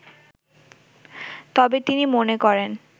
তবে তিনি মনে করেন